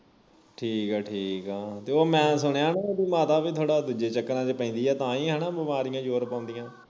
ਠੀਕ ਆ ਤੇ ਉਹ ਮੈਂ ਸੁਣਿਆ ਉਹਦੀ ਮਾਤਾ ਵੀ ਥੋੜਾ ਦੂਜੇ ਚੱਕਰਾਂ ਵਿਚ ਪੈਂਦੀ ਆ ਤਾਂ ਹੀ ਹਣਾ ਬਿਮਾਰੀਆਂ ਜੋਰ ਪਾਉਦੀਆਂ